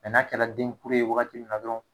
n'a kɛ la denkuru ye wagati min na dɔrɔn.